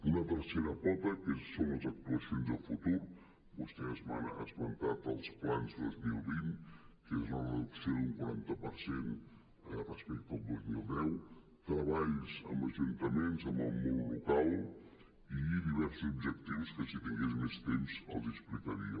una tercera pota que són les actuacions de futur vostès m’han esmentat els plans dos mil vint que és la reducció d’un quaranta per cent respecte al dos mil deu treballs amb ajuntaments amb el món local i diversos objectius que si tingués més temps els hi explicaria